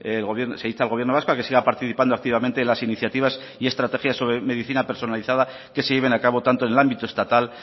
se insta al gobierno vasco a que siga participando activamente en las iniciativas y estrategias sobre medicina personalizada que se lleven a cabo tanto en el ámbito estatal